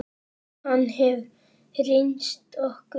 Hann hefur reynst okkur vel.